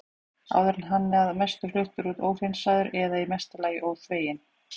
Áður var hann að mestu fluttur út óhreinsaður eða í mesta lagi þveginn.